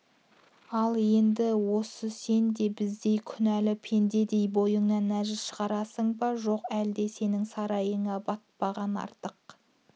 ал енді осы сен де біздей күнәлі пендедей бойыңнан нәжіс шығарасың ба жоқ әлде сенің сарайыңа батпаған артық